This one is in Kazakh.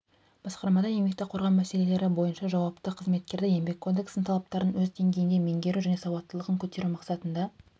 басқармада еңбекті қорғау мәселелері бойынша жауапты қызметкерді еңбек кодексінің талаптарын өз деңгейінде меңгеру және сауаттылығын көтеру мақсатында